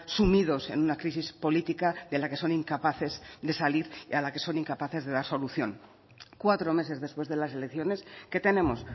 sumidos en una crisis política de la que son incapaces de salir y a la que son incapaces de dar solución cuatro meses después de las elecciones qué tenemos